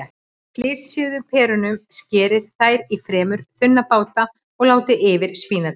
Flysjið perurnar, skerið þær í fremur þunna báta og látið yfir spínatið.